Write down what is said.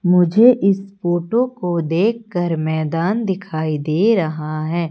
मुझे इस फोटो को देखकर मैदान दिखाई दे रहा है।